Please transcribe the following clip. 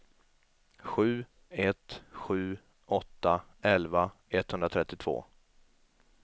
sju ett sju åtta elva etthundratrettiotvå